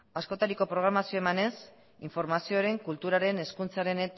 askotariko programazioa emanez informazioaren kulturaren hezkuntzaren